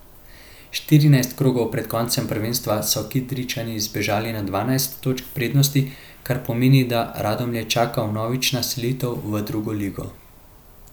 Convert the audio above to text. Štirinajst krogov pred koncem prvenstva so Kidričani zbežali na dvanajst točk prednosti, kar pomeni, da Radomlje čaka vnovična selitev v drugo ligo.